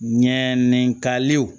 Ɲɛ ni kalew